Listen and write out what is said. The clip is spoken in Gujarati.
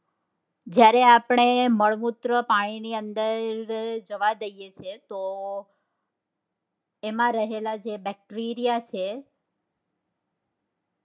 જયારે આપણે મળમૂત્ર પાણી ની અંદર જવા દએ છે તો તેમાં રહેલા જે bacteria છે